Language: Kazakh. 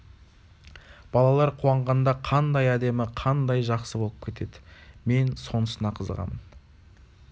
балалар қуанғанда қандай әдемі қандай жақсы болып кетеді мен сонысына қызығамын